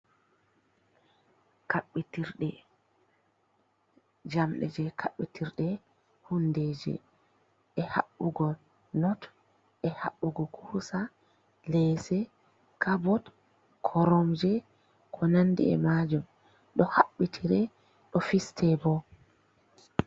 Jamɗe jey kaɓɓitir ɗe, hundeeji, e haɓɓugo not, e haɓɓugo kuusa leese, kabot, koromje, ko nanndi e maajum, ɗo haɓɓitire, ɗo fiste bo.